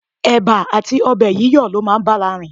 Ẹ̀ba àti ọbẹ̀ yíyọ̀ ló máa ń bára rìn.